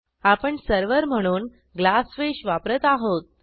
आपण सर्व्हर म्हणून ग्लासफिश वापरत आहोत